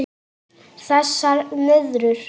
Þessar nöðrur!